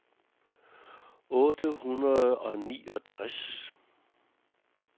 otte hundrede og niogtres